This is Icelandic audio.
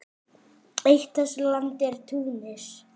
Listi yfir lögmenn Færeyja